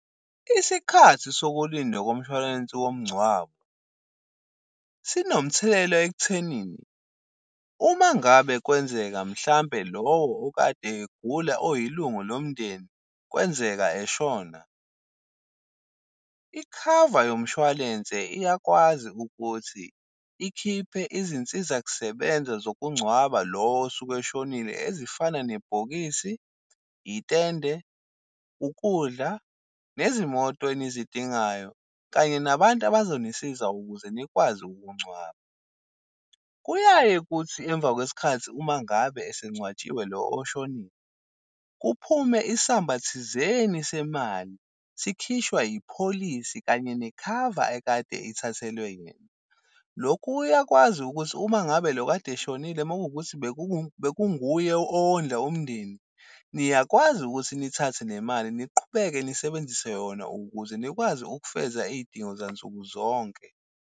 Isikhathi sokulinda komshwalense womngcwabo sinomthelela ekuthenini, uma ngabe kwenzeka mhlawumbe lowo okade egula oyilungu lomndeni kwenzeka eshona, ikhava yomshwalense iyakwazi ukuthi ikhiphe izinsizakusebenza zokungcwaba lo osuke eshonile, ezifana nebhokisi, itende, ukudla nezimoto enizidingayo, kanye nabantu abazonisiza ukuze nikwazi ukungcwaba. Kuyaye kuthi emva kwesikhathi uma ngabe esengcwatshiwe lo oshonile kuphume isamba thizeni semali, sikhishwa ipholisi kanye nekhava ekade ithathelwe yena. Lokhu uyakwazi ukuthi uma ngabe lo okade eshonile makuwukuthi bekunguye owondla umndeni, niyakwazi ukuthi nithathe le mali niqhubeke nisebenzise yona ukuze nikwazi ukufeza iy'dingo zansuku zonke.